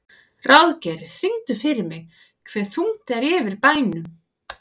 Ráðgeir, syngdu fyrir mig „Hve þungt er yfir bænum“.